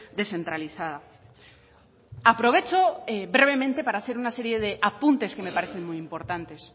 descentralizada aprovecho brevemente para hacer una serie de apuntes que me parecen muy importantes